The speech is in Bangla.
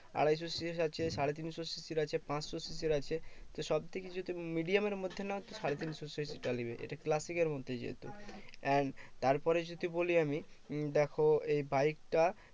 আড়াইশো CC র আছে, সাড়েতিনশো CC র আছে, পাঁচশো CC র আছে। তো সবথেকে যদি medium এর মধ্যে নাও তো সাড়ে তিনশো CC র টা নেবে। এটা classic এর মধ্যে যেহেতু। and তারপরে যদি বলি আমি উহ দেখো এই বাইকটা